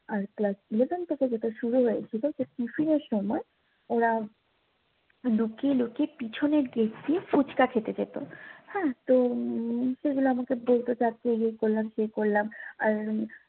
আর class eleven থেকে যেটা শুরু হয়েছে যে টিফিনের সময় ওরা লুকিয়ে লুকিয়ে পিছনের গেট দিয়ে পুচকা খেতে যেতো হ্যাঁ তো উম তো সেগুলো আমাকে বলতে চায় এই করলাম সেই করলাম আর